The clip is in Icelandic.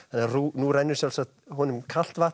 nú rennur sjálfsagt honum kalt vatn